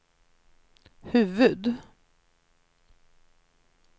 huvud-